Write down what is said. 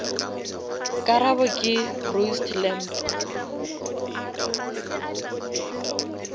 karabo ke roast lamb